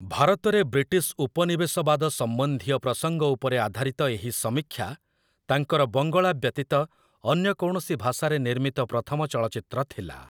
ଭାରତରେ ବ୍ରିଟିଶ ଉପନିବେଶବାଦ ସମ୍ବନ୍ଧୀୟ ପ୍ରସଙ୍ଗ ଉପରେ ଆଧାରିତ ଏହି ସମୀକ୍ଷା, ତାଙ୍କର ବଙ୍ଗଳା ବ୍ୟତୀତ ଅନ୍ୟ କୌଣସି ଭାଷାରେ ନିର୍ମିତ ପ୍ରଥମ ଚଳଚ୍ଚିତ୍ର ଥିଲା ।